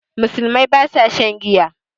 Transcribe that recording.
Musulmai ba sa shan giya